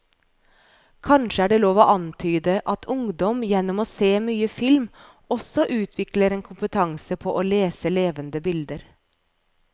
Kanskje er det lov å antyde at ungdom gjennom å se mye film også utvikler en kompetanse på å lese levende bilder.